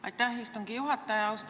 Aitäh, istungi juhataja!